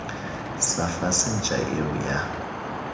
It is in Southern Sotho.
sa fase ntja eo ya